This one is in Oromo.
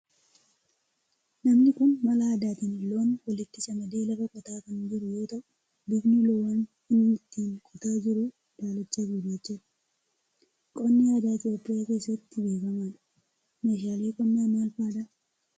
Namni kun mala aadaatin loon walitti camadee lafa qotaa kan jiru yoo ta'u bifni loowwan inni ittiin qotaa jiru daalacha fi gurraachadha. Qonni aadaa Itiyoophiyaa keessatti beekamadha. Meeshaaleen qonnaa maal fa'aadha?